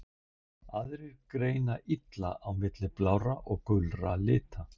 Aðrir greina illa á milli blárra og gulra lita.